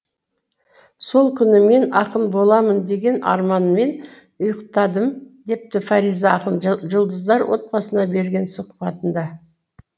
сол күні мен ақын боламын деген арманмен ұйықтадым депті фариза ақын жұлдыздар отбасына берген сұхбатында